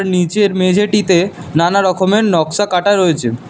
নীচের মেঝেটিতে নানা রকমের নকশা কাটা রয়েছে।